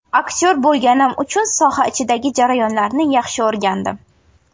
Aktyor bo‘lganim uchun soha ichidagi jarayonlarni yaxshi o‘rgandim.